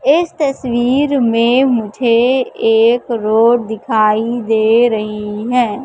इस तस्वीर मे मुझे एक रोड दिखाई दे रही है।